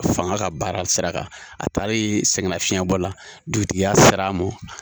Fanga ka baara sira kan, a taalen sɛngɛnafiɲɛ bɔ la dugutigiya sera a ma.